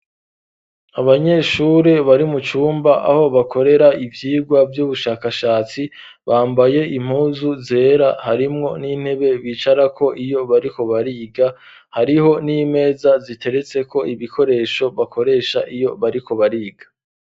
Abanyeshuri bari mu cumba aho bakorera ivyumba vy'ubushakashatsi bambaye impuzu zera harimwo n'intebe bicarako iyo bariko bariga hariho n'imeza ziteretse ko ibikoresho bakoresha iyo bariko bariga